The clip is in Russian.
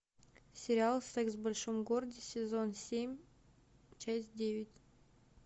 сериал секс в большом городе сезон семь часть девять